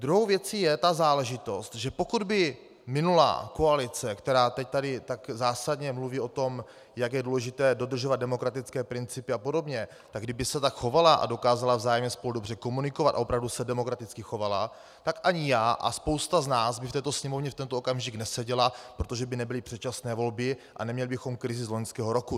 Druhou věcí je ta záležitost, že pokud by minulá koalice, která teď tady tak zásadně mluví o tom, jak je důležité dodržovat demokratické principy a podobně, tak kdyby se tak chovala a dokázala vzájemně spolu dobře komunikovat a opravdu se demokraticky chovala, tak ani já a spousta z nás by v této Sněmovně v tento okamžik neseděla, protože by nebyly předčasné volby a neměli bychom krizi z loňského roku.